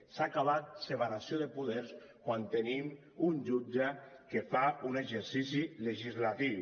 s’ha acabat separació de poders quan tenim un jutge que fa un exercici legislatiu